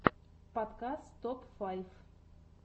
подкаст топ файв